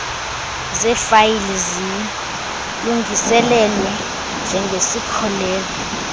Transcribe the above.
zeefayile zilungiselelwe njengesikhokelo